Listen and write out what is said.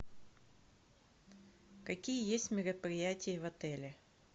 какие есть мероприятия в отеле